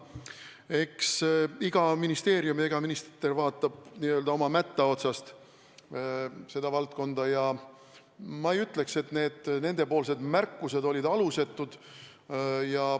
Eks iga ministeerium ja iga minister vaatab valdkonda oma mätta otsast ja ma ei ütleks, et nende märkused olid alusetud.